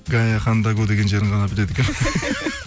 деген жерін ғана біледі екенмін